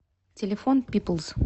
телефон пиплз